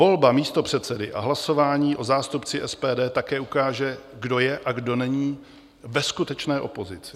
Volba místopředsedy a hlasování o zástupci SPD také ukáže, kdo je a kdo není ve skutečné opozici.